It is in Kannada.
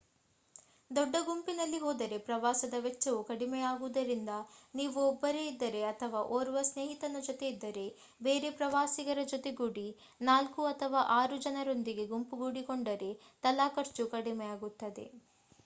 ದೊಡ್ಡ ಗುಂಪಿನಲ್ಲಿ ಹೋದರೆ ಪ್ರವಾಸದ ವೆಚ್ಚವು ಕಡಿಮೆಯಾಗುವುದರಿಂದ ನೀವು ಒಬ್ಬರೇ ಇದ್ದರೆ ಅಥವಾ ಒರ್ವ ಸ್ನೇಹಿತನ ಜೊತೆ ಇದ್ದರೆ ಬೇರೆ ಪ್ರವಾಸಿಗರ ಜೊತೆಗೂಡಿ 4 ಅಥವಾ 6 ಜನರೊಂದಿಗೆ ಗುಂಪುಗೂಡಿಕೊಂಡರೆ ತಲಾ ಖರ್ಚು ಕಡಿಮೆಯಾಗುತ್ತದೆ